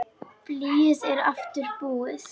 Blýið er aftur búið.